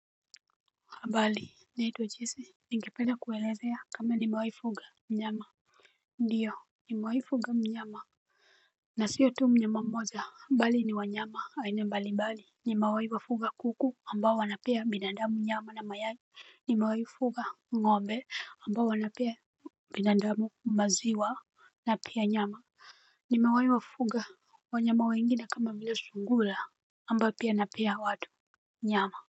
Mbali naitwa jisi. Ninge penda kuelezea kama ni mewai fuga mnyama. Ndiyo ni mewai fuga mnyama nasio tu mnyama mmoja bali ni wanyama aina mbali mbali nimewai kuku ambao wanapea binadamu nyama na mayai. Ni mewai wa fuga wa nyama we ingine kama vile sungula ambao pia na pea watu nyama.